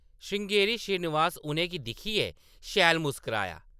श्रृंगेरी श्रीनिवास उʼनें गी दिक्खियै शैल मुस्कराया।